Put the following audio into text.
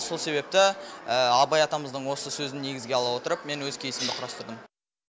сол себепті абай атамыздың осы сөзін негізге ала отырып мен өз кейсімді құрастырдым